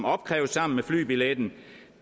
opkræves sammen med flybilletten